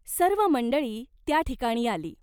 सर्व मंडळी त्या ठिकाणी आली.